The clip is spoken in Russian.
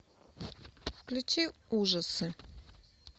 включи ужасы